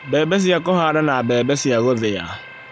mbembe cia kũhanda na mbembe cia gũthĩa.